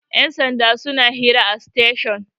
yansanda suna hira a station